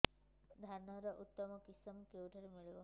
ଧାନର ଉତ୍ତମ କିଶମ କେଉଁଠାରୁ ମିଳିବ